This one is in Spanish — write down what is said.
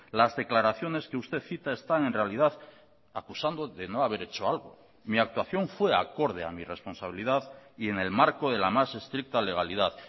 las declaraciones que usted cita están en realidad acusando de no haber hecho algo mi actuación fue acorde a mi responsabilidad y en el marco de la más estricta legalidad